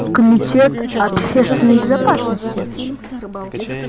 комитет общественной безопасности